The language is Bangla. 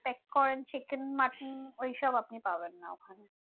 expect করেন chicken mutton ওই সব আপনি পাবেন না ওখানে